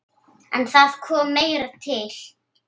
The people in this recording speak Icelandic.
En það kom meira til.